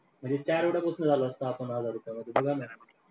म्हणजे झालो असतो आपण हजार रुपयामध्ये